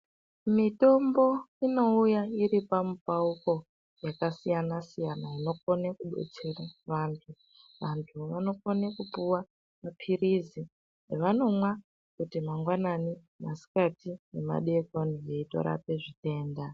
Mitombo inouya iri pamupauko yakasiyana-siyana inokone kubetsere vantu. Vantu vanokone kupuwa maphirizi avanomwa kuti mangwanani, masikati nemadeekoni veitorape zvitenda.